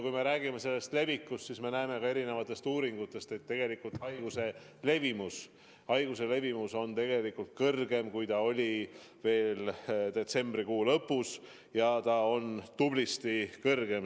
Kui me räägime levikust, siis me näeme erinevatest uuringutest, et tegelikult on haiguse levimus kõrgem, kui ta oli veel detsembrikuu lõpus, ja on tublisti kõrgem.